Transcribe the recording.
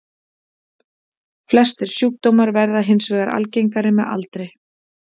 Flestir sjúkdómar verða hins vegar algengari með aldri.